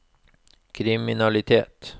kriminalitet